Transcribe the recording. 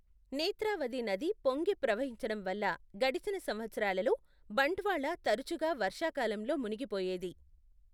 నేత్రావతి నది పొంగి ప్రవహించడం వల్ల గడిచిన సంవత్సరాలలో బంట్వాళ తరచుగా వర్షాకాలంలో మునిగిపోయేది.